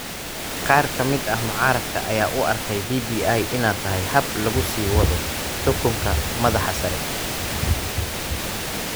Qaar ka mid ah mucaaradka ayaa u arkayay BBI inay tahay hab lagu sii wado xukunka madaxda sare.